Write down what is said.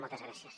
moltes gràcies